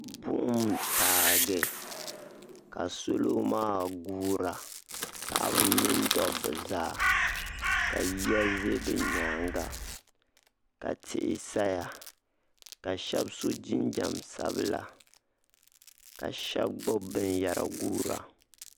buɣim n taagi ka salo maa guura paɣaba mini dobba zaa ka yiya za bɛ nyaaŋa ka tihi saya ka shɛba so jinjɛm sabla ka shɛba gbibi binyahari guura